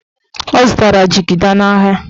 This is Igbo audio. Ọ zụtara jigida n'ahịa.